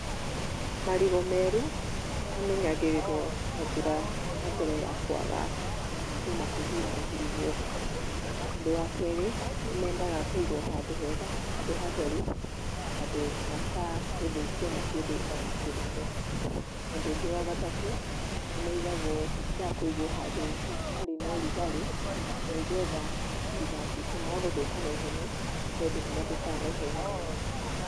Marigũ meru, mamenyagĩrĩrũo na njĩra ya mbere ya kwaga gũtinda makĩhihinyahihinywo. Ũndũ wa kerĩ, nĩmendaga kũigũo handũ hega, handũ hatheru, handũ matagũthũkio nĩ kĩndũ ona kĩrĩkũ. Na ũndũ ũngĩ wa gatatũ, nĩmaigagũo mendaga kũĩgũo handũ, hatarĩ na rũgarĩ, na nĩgetha matigatuĩke ma gũthũka naihenya, nĩtondũ nĩmathũkaga naihenya mũno.